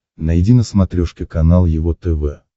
найди на смотрешке канал его тв